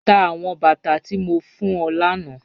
Tá awọn bátà tí mó fún ọ lána